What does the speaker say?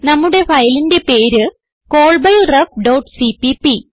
നമ്മുടെ ഫയലിന്റെ പേര് callbyrefസിപിപി